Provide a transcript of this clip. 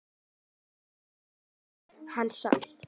En áfram hélt hann samt.